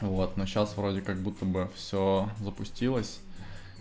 вот ну сейчас вроде как-будто бы всё запустилось